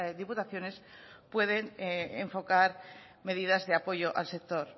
diputaciones pueden enfocar medidas de apoyo al sector